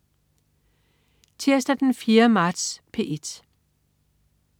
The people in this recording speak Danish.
Tirsdag den 4. marts - P1: